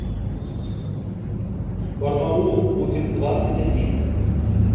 барнаул офис двадцать один